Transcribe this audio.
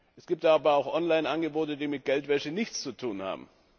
Es gibt aber auch Online Angebote, die mit Geldwäsche nichts zu tun haben.